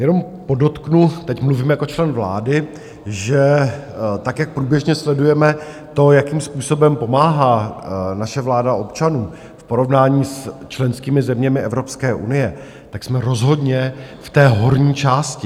Jenom podotknu, teď mluvím jako člen vlády, že tak jak průběžně sledujeme to, jakým způsobem pomáhá naše vláda občanům v porovnání s členskými zeměmi Evropské unie, tak jsme rozhodně v té horní části.